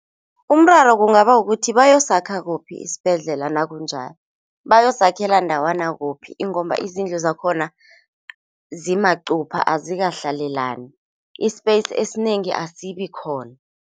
Umraro kungaba kukuthi bayosakha kuphi isibhedlela nakunjaya, bayosakhela ndawana kuphi ingomba izindlu zakhona zimaqupha azikahlalelani i-space esinengi asikabi khona.